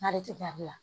N'ale tɛ gari la